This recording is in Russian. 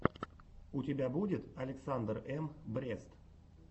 у тебя будет александр эм брест